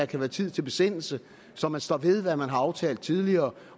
kan være tid til besindelse så man står ved hvad man har aftalt tidligere